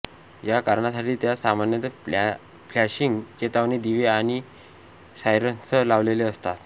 या कारणासाठी त्यात सामान्यत फ्लॅशिंग चेतावणी दिवे आणि सायरनसह लावलेले असतात